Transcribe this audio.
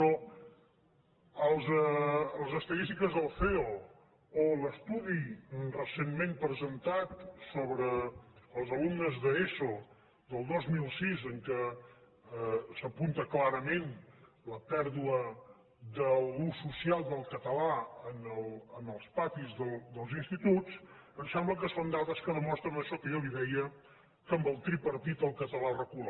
però les estadístiques del ceo o l’estudi recentment presentat sobre els alumnes d’eso del dos mil sis en què s’apunta clarament la pèrdua de l’ús social del català en els patis dels instituts em sembla que són dades que demostren això que jo li deia que amb el tripartit el català recula